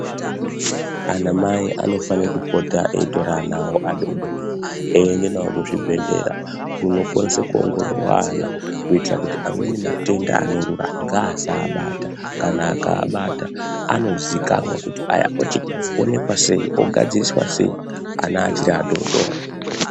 Ana mai anofane kupota eitora ana awo adoodori eiende nawo kuzvibhedhlera kunokwanise kuongororwa ana kuitira kuti amweni matenda anorura ngaasaabata kana akaabata anoziikanwa kuti awa ochionekwa sei ogadziriswa sei ana achiri adoodori.